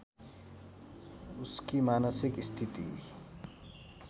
उसकी मानसिक स्थिति